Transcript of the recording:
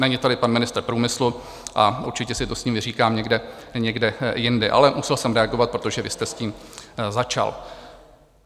Není tady pan ministr průmyslu a určitě si to s ním vyříkám někdy jindy, ale musel jsem reagovat, protože vy jste s tím začal.